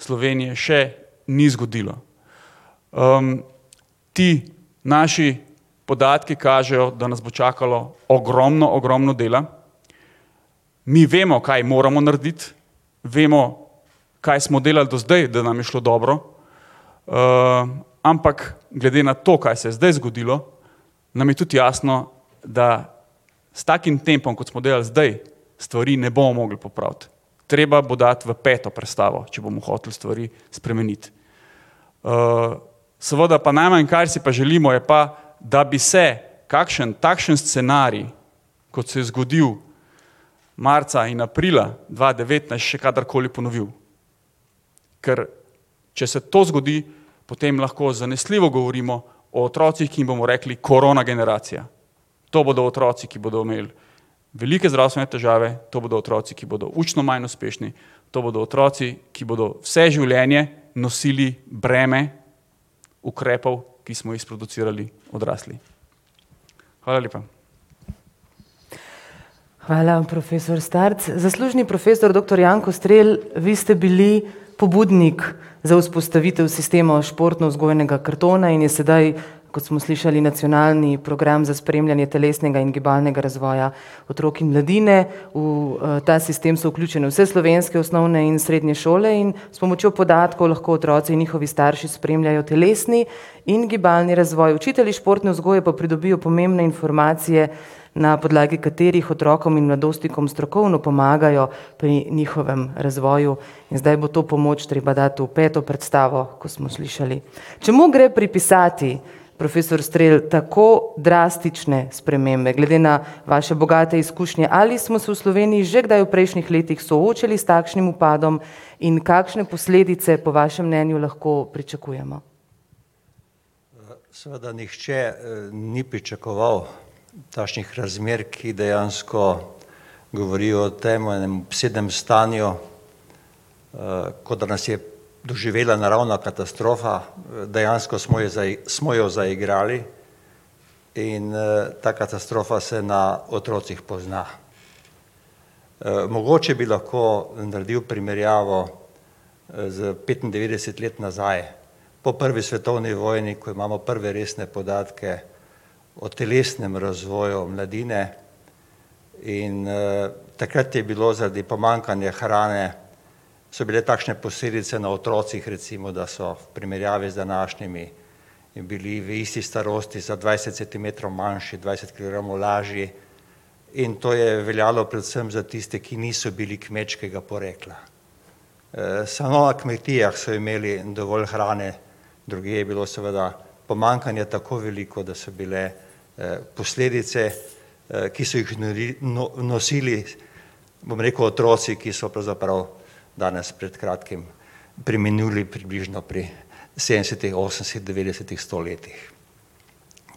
Slovenije še ni zgodilo. ti naši podatki kažejo, da nas bo čakalo ogromno, ogromno dela. Mi vemo, kaj moramo narediti, vemo, kaj smo delali do zdaj, da nam je šlo dobro. ampak glede na to, kaj se je zdaj zgodilo, nam je tudi jasno, da s takim tempom, kot smo delali zdaj, stvari ne bomo mogli popraviti. Treba bo dati v peto prestavo, če bomo hoteli stvari spremeniti. seveda pa najmanj, kar si pa želimo, je pa, da bi se kakšen takšen scenarij, kot se je zgodilo marca in aprila dva devetnajst, še kadarkoli ponovil. Ker če se to zgodi, potem lahko zanesljivo govorimo o otrocih, ki jim bomo rekli korona generacija. To bodo otroci, ki bodo imeli velike zdravstvene težave, to bodo otroci, ki bodo učno manj uspešni, to bodo otroci, ki bodo vse življenje nosili breme ukrepov, ki smo jih sproducirali odrasli. Hvala lepa. Hvala, profesor Starc. Zaslužni profesor doktor [ime in priimek] , vi ste bili pobudnik za vzpostavitev sistemov športnovzgojnega kartona in je sedaj, kot smo slišali, nacionalni program za spremljanje telesnega in gibalnega razvoja otrok in mladine, v ta sistem so vključene vse slovenske osnovne in srednje šole in s pomočjo podatkov lahko otroci in njihovi starši spremljajo telesni in gibalni razvoj, učitelji športne vzgoje pa pridobijo pomembne informacije, na podlagi katerih otrokom in mladostnikom strokovno pomagajo pri njihovem razvoju. In zdaj bo to pomoč treba dati v peto predstavo, kot smo slišali. Čemu gre pripisati, profesor Strel, tako drastične spremembe? Glede na vaše bogate izkušnje. Ali smo se v Sloveniji že kdaj v prejšnjih letih soočili s takšnim upadom in kakšne posledice, po vašem mnenju, lahko pričakujemo? Seveda nihče ni pričakoval takšnih razmer, ki dejansko govorijo o tem, o enem obsedenem stanju, kot da nas je doživela naravna katastrofa dejansko smo jo smo jo zaigrali in ta katastrofa se na otrocih pozna. mogoče bi lahko naredil primerjavo s petindevetdeset let nazaj, po prvi svetovni vojni, ko imamo prve resne podatke o telesnem razvoju mladine, in takrat je bilo zaradi pomanjkanja hrane, so bile takšne posledice na otrocih, recimo, da so v primerjavi z današnjimi bili v isti starosti za dvajset centimetrov manjši, dvajset kilogramov lažji, in to je veljalo predvsem za tiste, ki niso bili kmečkega porekla. samo na kmetijah so imeli dovolj hrane, drugje je bilo seveda pomanjkanje tako veliko, da so bile posledice ki so jih nosili, bom rekel, otroci, ki so pravzaprav danes pred kratkim preminuli približno pri sedemdesetih, osemdeset, devetdesetih, sto letih.